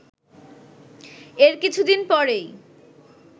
এর কিছুদিন পরই